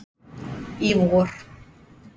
í vor.